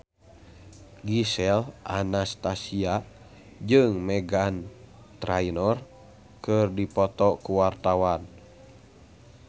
Gisel Anastasia jeung Meghan Trainor keur dipoto ku wartawan